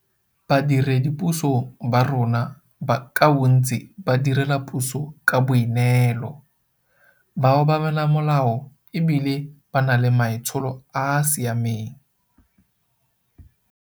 Badiredipuso ba rona ka bontsi ba direla puso ka boi neelo, ba obamela molao e bile ba na le maitsholo a a siameng.